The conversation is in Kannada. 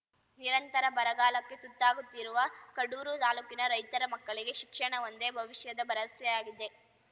ನಿರಂತರ ಬರಗಾಲಕ್ಕೆ ತುತ್ತಾಗುತ್ತಿರುವ ಕಡೂರು ತಾಲೂಕಿನ ರೈತರ ಮಕ್ಕಳಿಗೆ ಶಿಕ್ಷಣವೊಂದೇ ಭವಿಷ್ಯದ ಭರವಸೆಯಾಗಿದೆ